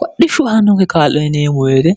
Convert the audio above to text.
kodhishshu haannokke kaallo nineemu weete